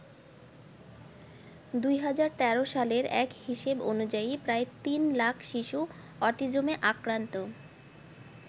২০১৩ সালের এক হিসেব অনুযায়ী প্রায় ৩ লাখ শিশু অটিজমে আক্রান্ত।